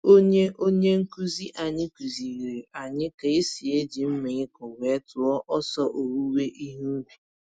Onye Onye nkuzi anyị kuziri anyị ka esi eji mmaịkọ were tụọ ọsọ owuwe ihe ubi.